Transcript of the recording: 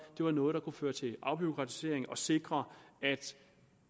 var nogle der kunne føre til afbureaukratisering og sikre at